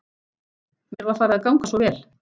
Mér var farið að ganga svo vel.